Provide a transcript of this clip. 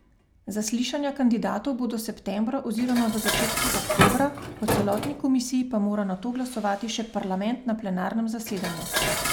Zaslišanja kandidatov bodo septembra oziroma v začetku oktobra, o celotni komisiji pa mora nato glasovati še parlament na plenarnem zasedanju.